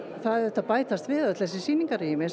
það bætist við sýningarrými sem